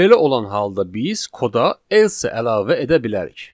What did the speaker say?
Belə olan halda biz koda else əlavə edə bilərik.